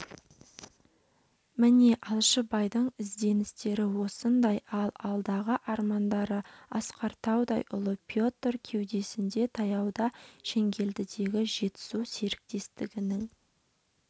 міне алашыбайдың ізденістері осындай ал алдағы армандары асқар таудай ұлы петр- кеудесінде таяуда шеңгелдідегі жетісу серіктестігінің